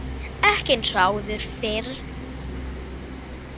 Ekki eins og áður fyrr.